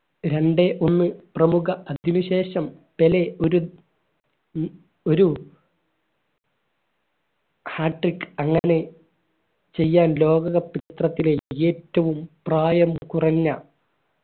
രണ്ടേ ഒന്ന് പ്രമുഖ അത്വിശേഷം പെലെ ഒരു ഒരു hat trick അങ്ങനെ ചെയ്യാൻ ലോക cup ചിത്രത്തിലേ ഏറ്റവും പ്രായം കുറഞ്ഞ